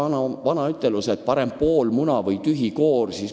Me ju teame seda vana ütlust, et parem pool muna kui tühi koor.